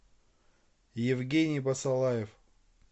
евгений басалаев